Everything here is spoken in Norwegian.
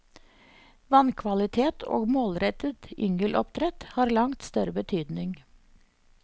Vannkvalitet og målrettet yngeloppdrett har langt større betydning.